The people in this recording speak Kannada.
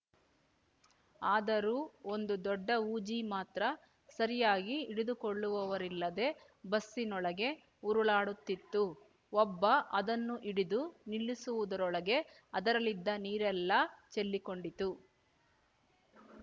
ಆದರೂ ಒಂದು ದೊಡ್ಡ ಹೂಜಿ ಮಾತ್ರ ಸರಿಯಾಗಿ ಹಿಡಿದುಕೊಳ್ಳುವವರಿಲ್ಲದೆ ಬಸ್ಸಿನೊಳಗೆ ಉರುಳಾಡುತ್ತಿತ್ತು ಒಬ್ಬ ಅದನ್ನು ಹಿಡಿದು ನಿಲ್ಲಿಸುವುದರೊಳಗೆ ಅದರಲ್ಲಿದ್ದ ನೀರೆಲ್ಲಾ ಚೆಲ್ಲಿಕೊಂಡಿತ್ತು